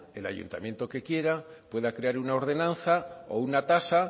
el ayuntamiento que quiera pueda crear una ordenanza o una tasa